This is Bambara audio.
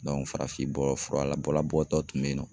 farafin bɔ fura la bɔlɔ bɔtɔ dɔ tun bɛ yen nɔ